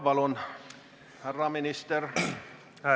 Palun, härra minister!